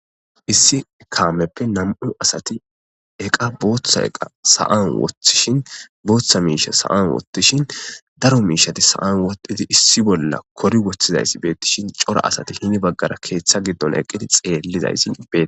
issi kameppe nam7u asati eqa booththa eqa sa7an woththishin booththa miisha sa7an wottishin daro miishati sa7an wodhidi issi bolla kori woththizaysi beettishin cora asati hini baggara keeththa giddon eqqiti xeellizaysi bee